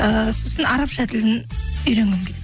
ііі сосын арабша тілін үйренгім келеді